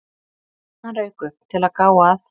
Hann rauk upp, til að gá að